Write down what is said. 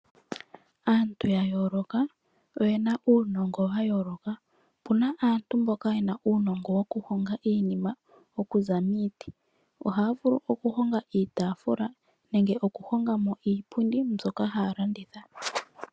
Aantu ya yooloka oye na uunongo wa yooloka. Opu na aantu mboka ye na uunongo wokuhonga iinima okuza miiti. Ohaya vulu okuhonga iitaafula nenge okuhonga mo iipundi mbyoka haya landitha.